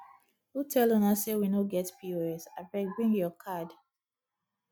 who tell una sey we no get pos abeg bring your card